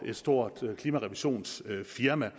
et stort klimarevisionsfirma